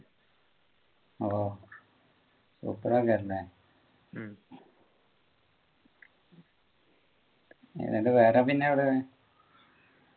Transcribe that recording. ഓ എങ്ങനെയുണ്ട് വേറെ പിന്നെ അവിടെ